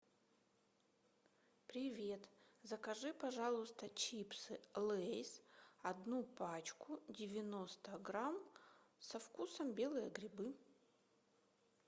привет закажи пожалуйста чипсы лейс одну пачку девяносто грамм со вкусом белые грибы